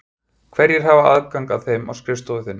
Hverjir hafa aðgang að þeim á skrifstofu þinni?